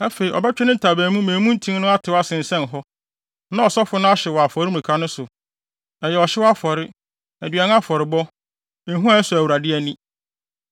Afei, ɔbɛtwe ne ntaban mu ama emu ntin no atetew asensɛn hɔ, na ɔsɔfo no ahyew no wɔ afɔremuka no so. Ɛyɛ ɔhyew afɔre, aduan afɔrebɔ, ehua a ɛsɔ Awurade ani.